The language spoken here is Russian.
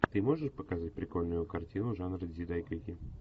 ты можешь показать прикольную картину жанра дзидайгэки